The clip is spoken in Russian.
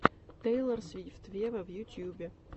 тейлор свифт вево в ютубе